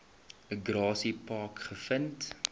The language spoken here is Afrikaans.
grassy park gevind